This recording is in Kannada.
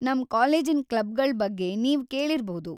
ನಮ್‌ ಕಾಲೇಜಿನ್ ಕ್ಲಬ್‌ಗಳ್ ಬಗ್ಗೆ ನೀವ್‌ ಕೇಳಿರ್‌ಬೌದು.